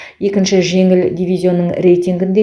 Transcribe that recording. екінші жеңіл дивизионның рейтингінде